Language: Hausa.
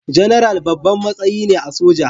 General babban matsayi ne a soja